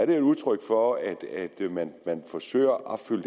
et udtryk for at man forsøger at opfylde